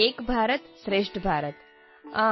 ಏಕ ಭಾರತಂ ಶ್ರೇಷ್ಠ ಭಾರತಂ